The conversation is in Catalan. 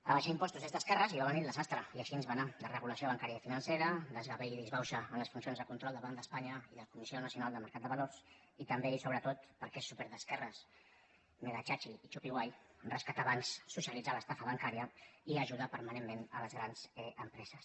abaixar impostos és d’esquerres i va venir el desastre i així ens va anar desregulació bancària i financera desgavell i disbauxa en les funcions de control del banc d’espanya i de la comissió nacional del mercat de valors i també i sobretot perquè és súper d’esquerres megatxatxi i txupiguai rescatar bancs socialitzar l’estafa bancària i ajudar permanentment les grans empreses